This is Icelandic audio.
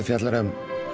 fjallar um